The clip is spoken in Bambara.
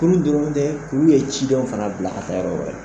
K'olu dɔrɔn tɛ k'u ye cidenw fana bila ka ta yɔrɔ wɛrɛ.